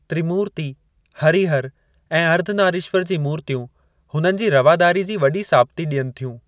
त्रिमूर्ति, हरिहर ऐं अर्धनारीश्वर जी मूर्तियूं हुननि जी रवादारी जी वॾी साबिती ॾियनि थियूं।